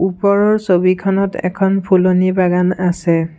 ওপৰৰ ছবিখনত এখন ফুলনি বাগান আছে।